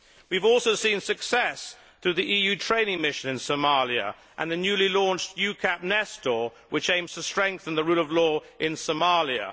We have also seen success through the EU training mission in Somalia and the newly launched EUCAP Nestor which aims to strengthen the rule of law in Somalia.